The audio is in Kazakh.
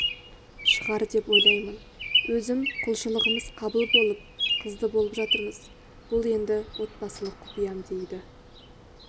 шығар деп ойлаймын өзім құлшылығымыз қабыл болып қызды болып жатырмыз бұл енді отбасылық құпиям дейді